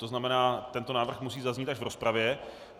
To znamená, tento návrh musí zaznít až v rozpravě.